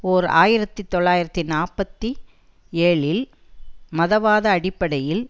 ஓர் ஆயிரத்தி தொள்ளாயிரத்து நாற்பத்தி ஏழில் மதவாத அடிப்படையில்